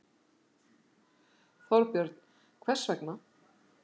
Þorbjörn: Hvers vegna?